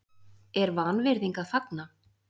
er vanvirðing að fagna?